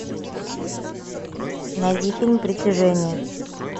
найди фильм притяжение